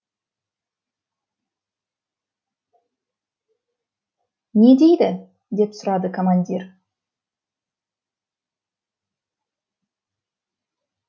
не дейді деп сұрады командир